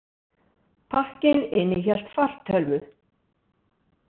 Pakkinn innihélt fartölvu